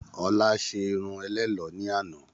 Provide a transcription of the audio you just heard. Ọlá ṣé irun ẹlẹ́lọ̀ ni àná.